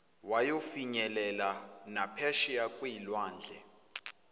wayofinyelela naphesheya kwezilwandle